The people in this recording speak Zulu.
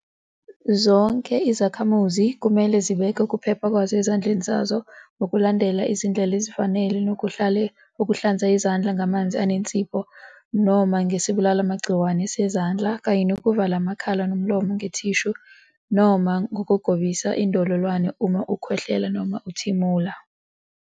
Zonke izakhamuzi kumele zibeke ukuphepha kwazo ezandleni zazo ngokulandela izindlela ezifana nokuhlale uhlanza izandla ngamanzi nensipho noma ngesibulalimagciwane sezandla kanye nokuvala amakhala nomlomo ngethishu noma ngokugobisa indololwane uma ukhwehlela noma uthimula.